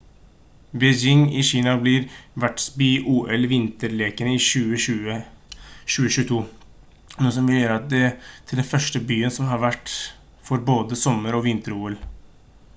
beijing i kina blir vertsby i ol-vinterlekene i 2022 noe som vil gjøre det til den første byen som har vært vert for både sommer og vinter-ol